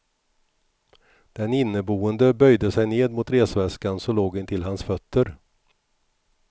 Den inneboende böjde sig ned mot resväskan som låg intill hans fötter.